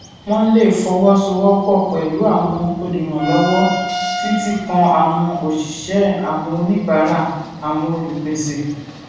wón lè fọwó sowó pò pẹlú àwọn olùrànlówó títí kan àwọn òṣìṣẹ àwọn oníbàárà àwọn olùpèsè